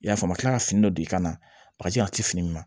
I y'a faamu a mi kila ka fini dɔ d'i ka na bakaji a te fini ma